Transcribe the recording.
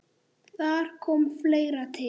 Þar kom fleira til.